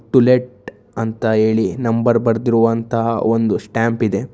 To late ಅಂತ ಹೇಳಿ number ಬರೆದಿರುವಂತಹ ಒಂದು ಸ್ಟ್ಯಾಂಪ್ ಇದೆ.